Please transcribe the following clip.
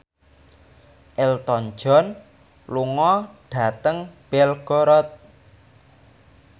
Elton John lunga dhateng Belgorod